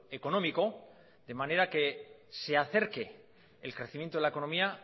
económico de manera que se acerque el crecimiento de la economía